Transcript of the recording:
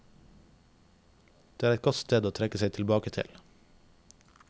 Det er et godt sted å trekke seg tilbake til.